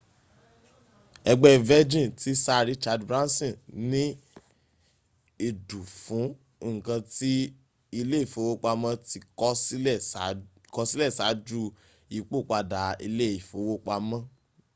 ẹgbẹ́ virgin ti sir richard branson ní ìdù fún ǹkan ti ilé ìfowópamọ́ ti kọ̀ sílẹ̀ ṣáájú ìyípòpadà ilé ìfowópamọ́